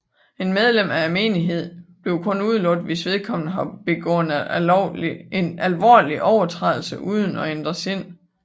Et medlem af menigheden bliver kun udelukket hvis vedkommende har begået en alvorlig overtrædelse uden at ændre sind